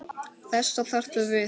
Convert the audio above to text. Þessa þarftu við.